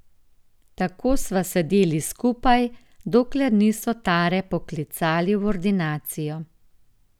Tako sva sedeli skupaj, dokler niso Tare poklicali v ordinacijo.